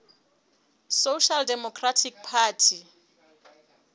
social democratic party